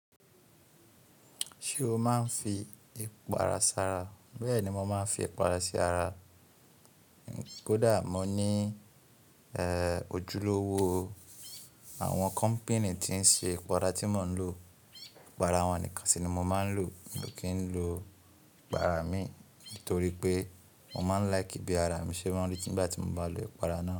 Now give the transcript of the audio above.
Ṣé o máa ń fi ipara sara? Bẹ́ẹ̀ni mo máa ń fi ipara sí ara. Kódà mo ní ehh ojúlówó àwọn kọ́npìnì tí ń ṣe ipara tí mò ń lò. Ipara wọn nìkan sì ni mo máa ń lò mi ò kí n lo ipara ìmíì nítorí pé mo máa ń like bí araa mi ṣe máa rí tìgbà tí mo bá lo ipara náà.